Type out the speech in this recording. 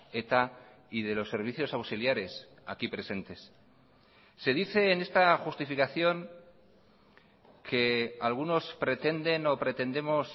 eta y de los servicios auxiliares aquí presentes se dice en esta justificación que algunos pretenden o pretendemos